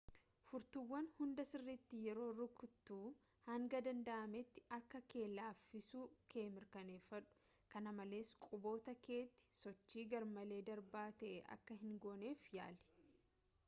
furtuuwwan hunda sirriitti yeroo rukuttu hanga danda'ametti harka kee laaffisuu kee mirkaneeffadhu-kana malees quboota keetiin sochii garmalee darbaa ta'e akka hingooneef yaali